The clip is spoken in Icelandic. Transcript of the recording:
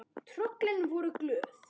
Tröllin voru glöð.